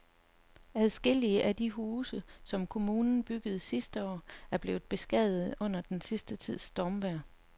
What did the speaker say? Adskillige af de huse, som kommunen byggede sidste år, er blevet beskadiget under den sidste tids stormvejr.